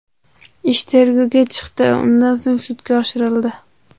Ish tergovga chiqdi, undan so‘ng sudga oshirildi.